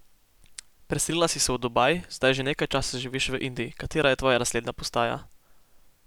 Preselila si se v Dubaj, zdaj že nekaj časa živiš v Indiji, katera je tvoja naslednja postaja?